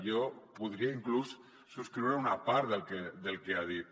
jo podria inclús subscriure una part del que ha dit